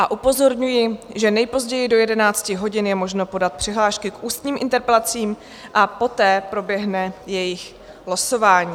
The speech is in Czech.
A upozorňuji, že nejpozději do 11 hodin je možno podat přihlášky k ústním interpelacím a poté proběhne jejich losování.